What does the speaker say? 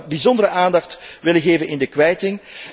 Ik zou daar dus bijzondere aandacht aan willen geven in de kwijting.